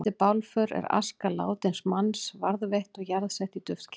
Eftir bálför er aska látins manns varðveitt og jarðsett í duftkeri.